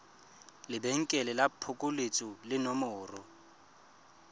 lebenkele la phokoletso le nomoro